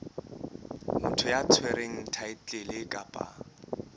motho ya tshwereng thaetlele kapa